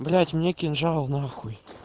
блять мне кинжал на хуй